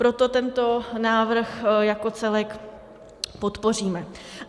Proto tento návrh jako celek podpoříme.